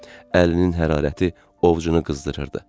Əlinin hərarəti ovucunu qızdırırdı.